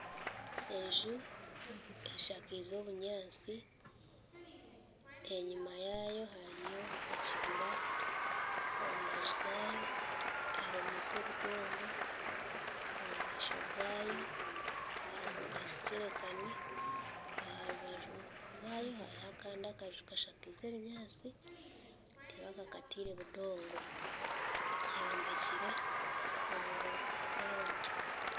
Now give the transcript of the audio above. Enju eshakize obunyatsi enyuma yaayo hariyo ekibira omu mbaju zaayo ehomiise obudongo gaayo hariho ekijerikani aha rubaju rwayo hariho Kandi akaju kashakaize ebinyatsi tibakakataire budongo eyombekire omu rawundi